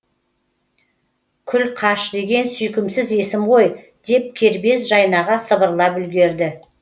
күлқаш деген сүйкімсіз есім ғой деп кербез жайнаға сыбырлап үлгерді